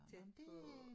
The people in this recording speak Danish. Tæt på